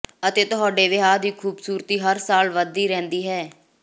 ਅਤੇ ਤੁਹਾਡੇ ਵਿਆਹ ਦੀ ਖੂਬਸੂਰਤੀ ਹਰ ਸਾਲ ਵਧਦੀ ਰਹਿੰਦੀ ਹੈ